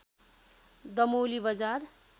दमौली बजार